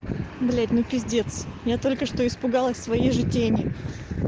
блять ну пиздец я только что испугалась своей же тени